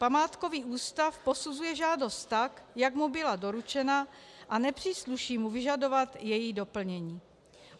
Památkový ústav posuzuje žádost tak, jak mu byla doručena, a nepřísluší mu vyžadovat její doplnění.